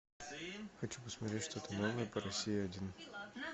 хочу посмотреть что то новое по россии один